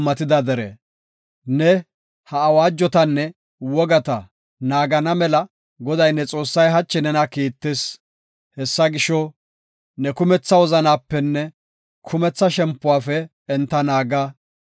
Ne ha awaajotanne wogata naagana mela Goday ne Xoossay hachi nena kiittis. Hessa gisho, ne kumetha wozanapenne kumetha shempuwafe enta naaga.